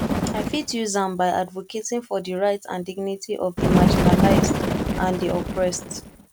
i fit use am by advocating for di rights and dignity of di marginalized and di oppressed